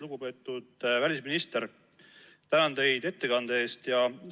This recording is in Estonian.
Lugupeetud välisminister, tänan teid ettekande eest!